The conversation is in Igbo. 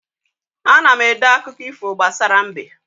Ana m ede akụkọ ifo gbasara mbe